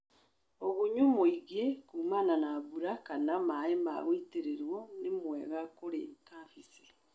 ũgunyu muĩgĩ kumana na mbura kana maĩ ma gũitĩrĩrio nĩmwega kũrĩ kabeci.